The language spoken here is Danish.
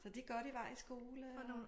Så de godt i vej i skole og